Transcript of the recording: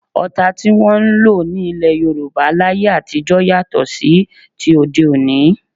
Ọta tí wọn ń lò ní ilẹ́ Yorùbá láyé àtijọ́ yàtọ̀ sí ti òde òní